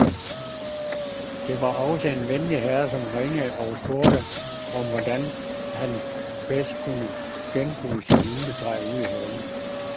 Der var også en venlig herre, som ringede og spurgte om, hvordan han bedst kunne genbruge sit juletræ ude i haven.